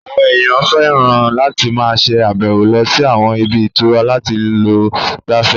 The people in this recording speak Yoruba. Àwọn èèyàn fẹ́ràn láti máa ṣe àbẹ̀wò lọ sí àwọn ibi ìtura láti lọ gbafẹ́